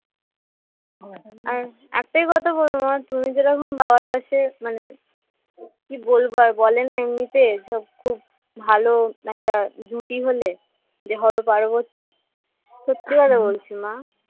একটাই কথা বলবো মা তুমি যে রকম বাবার পাশে মানে কি বলবো আর বলে না এমনিতে খুব ভালো একটা জুটি হলে যে হরো পার্বতী সত্যি কথা বলছি মা